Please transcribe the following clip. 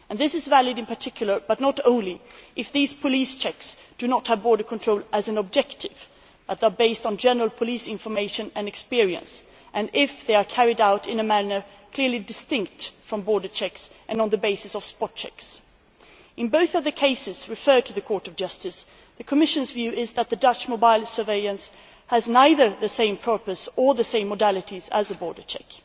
This is valid in particular, but not only, if these police checks do not have border control as an objective they are based on general police information and experience and if they are carried out in a manner clearly distinct from border checks and on the basis of spot checks. In both of the cases referred to the Court of Justice, the Commission's view is that the Dutch mobile surveillance has neither the same purpose nor the same modalities as a border check.